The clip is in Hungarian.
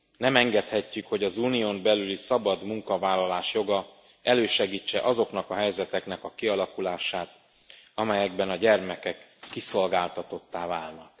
Nem engedhetjük, hogy az Unión belüli szabad munkavállalás joga elősegítse azoknak a helyzeteknek a kialakulását, amelyekben a gyermekek kiszolgáltatottá válnak.